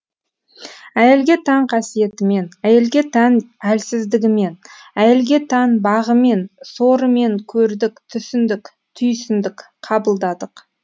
әйелге тән қасиетімен әйелге тән әлсіздігімен әйелге тән бағымен сорымен көрдік түсіндік түйсіндік қабылдадық